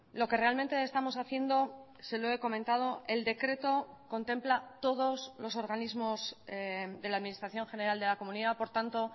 lo que realmente estamos haciendo se lo he comentado el decreto contempla todos los organismos de la administración general de la comunidad por tanto